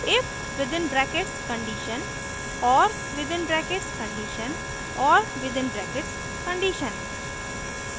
if within brackets condition or within brackets condition or within brackets condition